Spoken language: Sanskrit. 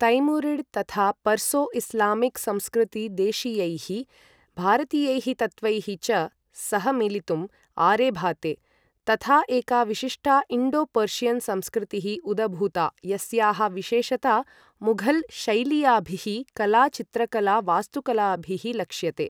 तैमुरिड् तथा पर्सो इस्लामिक् संस्कृती देशीयैः भारतीयैः तत्त्वैः च सह मिलितुं आरेभाते, तथा एका विशिष्टा इण्डो पर्षियन् संस्कृतिः उदभूता यस्याः विशेषता मुघल् शैलीयाभिः कला चित्रकला वास्तुकलाभिः लक्ष्यते।